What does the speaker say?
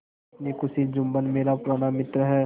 अपनी खुशी जुम्मन मेरा पुराना मित्र है